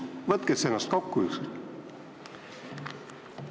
Võtke ennast kokku ükskord!